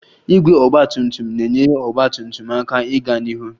Igwe ọgba tum tum na-enyere ọgba tum tum aka ịga n'ihu